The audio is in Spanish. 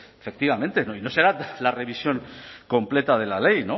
efectivamente y no será la revisión completa de la ley